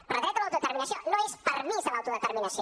però dret a l’autodeterminació no és permís a l’autodeterminació